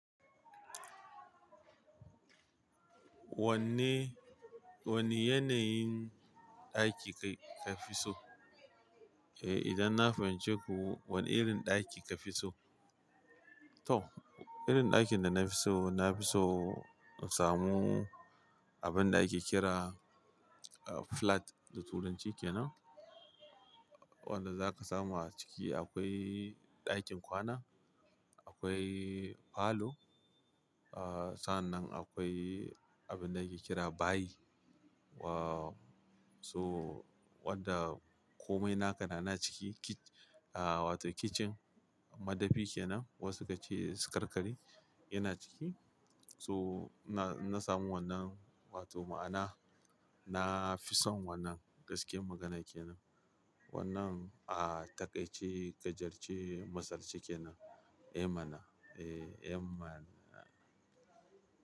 Wanne, wanne yanayin ɗaki ka fi so? Eh, idan na fahimci ku wane irin ɗaki ka fi so? To, irin ɗakin da na fi so, na fi so in samu abin da ake kira flat da Turanci ke nan. Wanda za ka samu a ciki akwai ɗakin kwana, akwai falo, ah sannan akwai abin da ake kira bayi. Wo so wanda komai na ka na na ciki, kit-- ah wato kitchen madafi ke nan. Wasu ka ce su karkari yana ciki. So na, na samu wannan wato ma'ana na fi son wannan gaskiyan magana ke nan. Wannan ah taƙaice gajarce masalce ke nan. Eh mana, eh, eh mana.